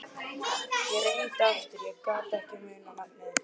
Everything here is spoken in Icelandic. Ég reyndi aftur en ég gat ekki munað nafnið.